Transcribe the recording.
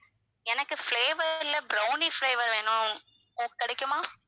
எனக்கு flavour ல brownie flavour வேணும் கிடைக்குமா?